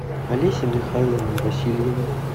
олесе михайловне васильевой